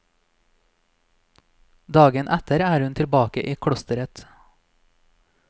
Dagen etter er hun tilbake i klosteret.